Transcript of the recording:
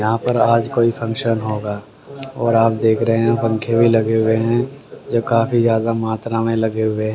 यहां पर आज कोई फंक्शन होगा और आप देख रहे हैं पंखे भी लगे हुए हैं जो काफी ज्यादा मात्रा में लगे हुए--